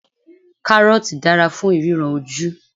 Kárọ́ọ̀tì dára fún ìríran ojú.